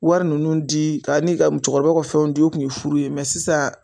Wari ninnu di ka ani musokɔrɔba ka fɛnw di o kun ye furu ye nga sisan.